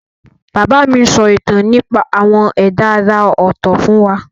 Bàbá mi ń sọ ìtàn nípa àwọn ẹ̀dá àrà ọ̀tọ̀ fún wa.